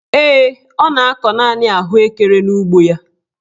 Ee, ọ na-akọ naanị ahụekere n'ugbo ya.